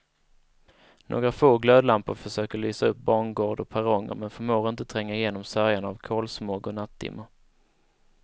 Några få glödlampor försöker lysa upp bangård och perronger men förmår inte tränga igenom sörjan av kolsmog och nattdimma.